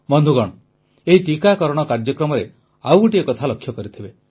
ବନ୍ଧୁଗଣ ଏହି ଟିକାକରଣ କାର୍ଯ୍ୟକ୍ରମରେ ଆଉ ଗୋଟିଏ କଥା ଲକ୍ଷ୍ୟ କରିଥିବେ